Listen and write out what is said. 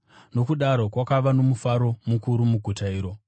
Nokudaro kwakava nomufaro mukuru muguta iro.